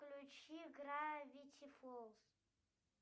включи гравити фолз